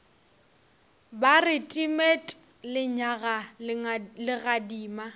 ba re timet lenyaga legadima